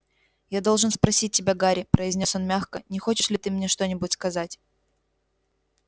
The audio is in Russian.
я должен спросить тебя гарри произнёс он мягко не хочешь ли ты мне что-нибудь сказать